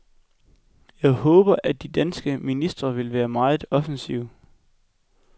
Jeg håber, at de danske ministre vil være meget offensive.